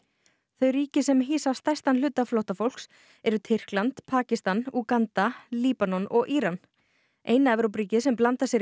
þau ríki sem hýsa stærstan hluta flóttafólks eru Tyrkland Pakistan Úganda Líbanon og Íran eina Evrópuríkið sem blandar sér í